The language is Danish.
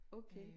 Okay